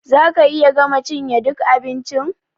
Za ka iya gama cinye ɗuk abincin?